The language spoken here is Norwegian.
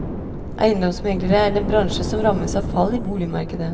Eiendomsmeglerne er en bransje som rammes av fall i boligmarkedet.